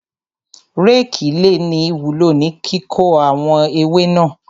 Rékì le ní ìwúló ní kíkó àwọn ewé náà.